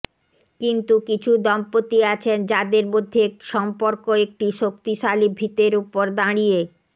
কিন্তু কিছু দম্পতি আছেন যাদের মধ্যে সম্পর্ক একটি শক্তিশালী ভীতের ওপর দাঁড়িয়ে